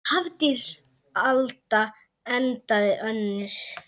Hafdís Alda endaði önnur.